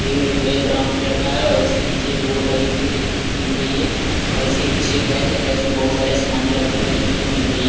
ए ये brown colour का है और उसके पीछे एक बोर्ड लगी हुई देखने को मिल रही है और उसके पीछे एक रैक है रैक्स में बहुत सारे समाने रखे हुए देखने को मिल रही --